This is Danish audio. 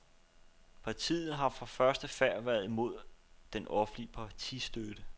Ppartiet har fra første færd været imod den offentlige partistøtte.